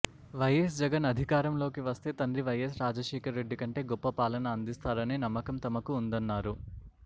YS Jagan అధికారంలోకి వస్తే తండ్రి వైఎస్ రాజశేఖర్ రెడ్డి కంటే గొప్ప పాలన అందిస్తారని నమ్మకం తమకు ఉందన్నారు